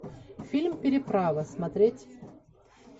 фильм переправа смотреть